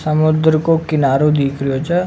समुद्र का किनारो दीख रियो छ।